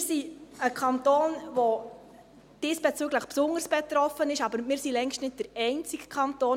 Wir sind ein Kanton, der diesbezüglich besonders betroffen ist, aber wir sind längst nicht der einzige Kanton.